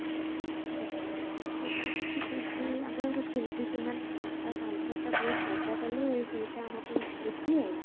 ଯାହାଥିଲା ବହୁତ ମଜା କଲେ ସେଇଟା ଆମ ପାଇଁ ସ୍ମୃତି ଆଉ